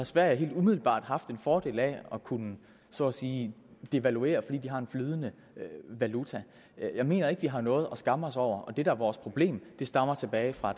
sverige helt umiddelbart haft en fordel af at kunne så at sige devaluere fordi de har en flydende valuta jeg mener ikke vi har noget at skamme os over og det der er vores problem stammer tilbage fra